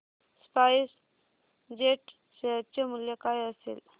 spice jet share चे मूल्य काय असेल